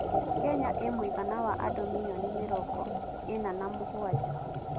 Kenya ĩĩ mũigana wa andũ mirioni mĩrongo ĩna na mũgwanja.